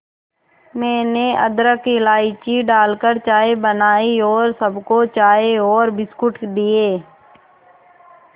मैंने अदरक इलायची डालकर चाय बनाई और सबको चाय और बिस्कुट दिए